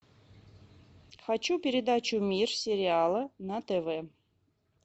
хочу передачу мир сериала на тв